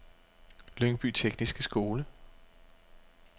Lyngby Tekniske Skole